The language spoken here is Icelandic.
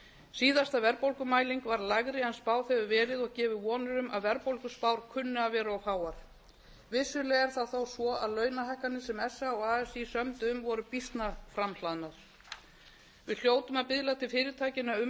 síðasta verðbólgumæling var lægri en spáð hefur verið og gefur vonir um að verðbólguspárkunni að vera of háar vissulega er það þó svo að launahækkanir sem sa og así sömdu um voru býsna framhlaðnar við hljótum að biðla til fyrirtækjanna um